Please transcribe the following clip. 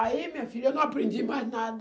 Aí, minha filha, eu não aprendi mais nada.